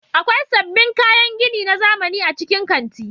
Akwai sabbin kayan gini na zamani a cikin kanti.